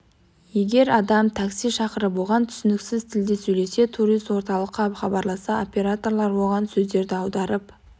егер адам такси шақырып оған түсініксіз тілде сөйлесе турист орталыққа хабарласса операторлар оған сөздерді аударып